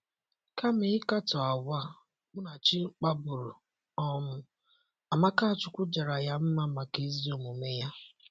Kama ịkatọ àgwà Munachi kpaburu um, Amakachukwu jara ya mma maka ezi omume ya.